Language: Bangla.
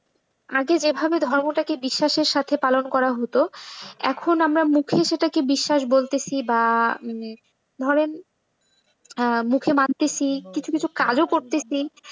আগে যেভাবে ধর্মটাকে বিশ্বাসের সাথে পালন করা হোত। এখন আমরা মুখেই সেটাকে বিশ্বাস বলতেছি বা ধরেন মুখে মানতেছি কিছু কিছু কাজও করতেছি।